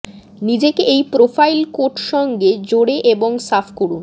নিজেকে এই প্রোফাইল কোট সঙ্গে জোরে এবং সাফ করুন